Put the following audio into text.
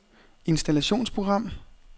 installationsprogram